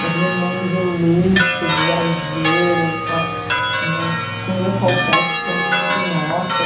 Naquele mundo de luxo, de exagero, aquela... Uma comida qualquer costuma uma nota.